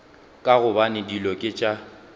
ka gobane dilo ke tša